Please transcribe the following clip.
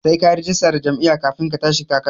Sai kayi rajista da jam'iyya kafin ka tashi takara